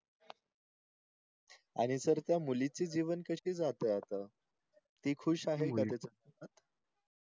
आणि SIR त्या मुलिचे जीवन कसे जातेय आता ती खुश आहे का